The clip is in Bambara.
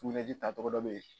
tacogo dɔ bɛ ye